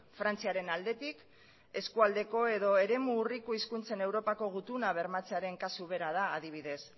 frantziaren aldetik eskualdeko edo eremu urriko hizkuntzen euopako gutuna bermatzearen kasu bera da adibidez